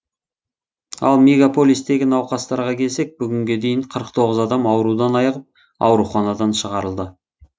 ал мегаполистегі науқастарға келсек бүгінге дейін қырық тоғыз адам аурудан айығып ауруханадан шығарылды